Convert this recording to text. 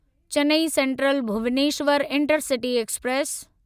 Chennai central Bhubaneswar intercity express